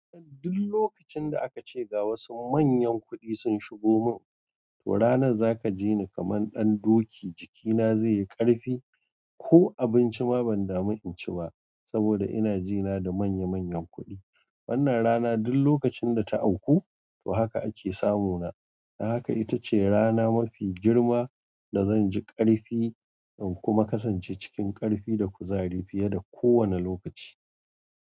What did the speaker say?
Duk lokacin da aka ce ga wasu manyan kuɗi sun shigo mun, to ranar zaka ji ni kaman ɗan doki jikina zai yi ƙarfi. Ko abinci ma ban damu in ci ba, saboda ina jina da manya manyan kuɗi. Wannan rana duk lokacin da ta auku, to haka ake samu na. Haka ita ce rana mafi girma da zan ji ƙarfi, in kuma kasance cikin ƙarfi da kuzari fiye da kowane lokaci.